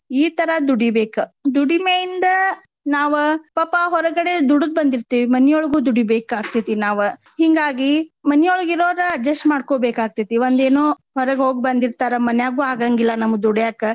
ಈ ತರ ದುಡಿಬೇಕ. ದುಡಿಮೆಯಿಂದ ನಾವ ಪಾಪಾ ಹೊರಗಡೆ ದುಡದ್ ಬಂದಿರ್ತೆವಿ ಮನಿಯೊಳಗು ದುಡಿಬೇಕ್ ಆಗ್ತೆತಿ ನಾವು ಹಿಂಗಾಗಿ ಮನಿಯೊಳಗ್ ಇರೋವ್ರ adjust ಮಾಡ್ಕೊಬೇಕಾಗ್ತೆತಿ. ಒಂದ್ ಏನೊ ಹೊರಗ್ ಹೋಗಿ ಬಂದಿರ್ತಾರ ಮನ್ಯಾಗು ಆಗಾಂಗಿಲ್ಲಾ ನಮಗ್ ದುಡ್ಯಾಕ.